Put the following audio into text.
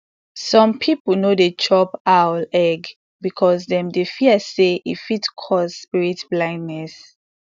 some people no dey chop owl egg because dem dey fear say e fit cause spirit blindness